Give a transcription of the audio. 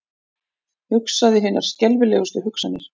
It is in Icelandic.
Hugsaði hinar skelfilegustu hugsanir.